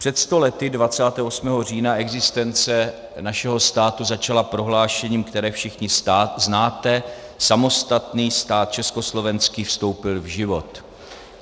Před sto lety 28. října existence našeho státu začala prohlášením, které všichni znáte: Samostatný stát československý vstoupil v život.